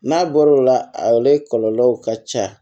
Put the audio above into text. N'a bɔr'o la a ale kɔlɔlɔw ka ca